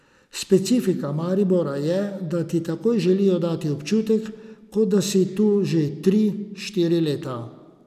Specifika Maribora je, da ti takoj želijo dati občutek, kot da si tu že tri, štiri leta.